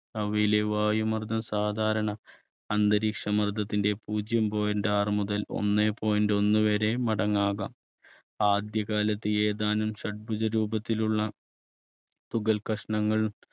അവയിലെ വായു മർദ്ദം സാധാരണ അന്തരീക്ഷമർദ്ദത്തിന്റെ പൂജ്യം point ആറ് മുതൽ ഒന്നേ point ഒന്ന് വരെ മടങ്ങാകാം. ആദ്യകാലത്ത് ഏതാനും ഷഡ്ഭുജ രൂപത്തിലുള്ള തുകൽ കഷ്ണങ്ങൾ